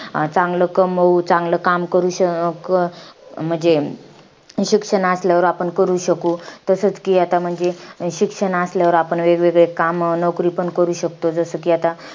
चांगलं कमवू, चांगलं काम करू श~ अं म्हणजे. शिक्षण असल्यावर आपण करू शकू. तसच कि आता म्हणजे, शिक्षण असल्यावर आपण वेगवेगळे कामं, नोकरीपण करू शकतो. जसं कि आता,